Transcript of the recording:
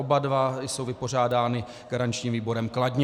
Oba dva jsou vypořádány garančním výborem kladně.